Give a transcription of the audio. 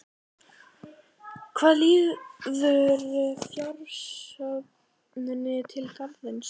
Hvað líður fjársöfnuninni til Garðsins?